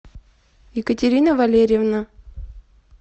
екатерина валерьевна